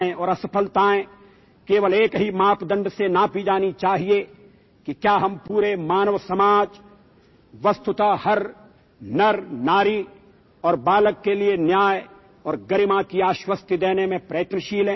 Ultimately, the only criterion to measure our successes and failures is whether we strive to assure justice and dignity to the entire humanity, virtually every man, woman and child